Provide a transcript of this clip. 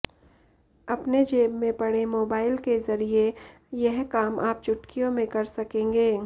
अपने जेब में पड़े मोबाइल के जरिए यह काम आप चुटकियों में कर सकेंगे